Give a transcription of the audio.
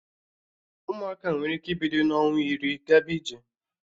Ụmụaka nwere ike ibido n'ọnwa iri gaba ije